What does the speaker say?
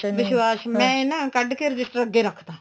ਵਿਸ਼ਵਾਸ਼ ਮੈਂ ਨਾ ਕੱਡ ਕੇ register ਅੱਗੇ ਰੱਖਤਾ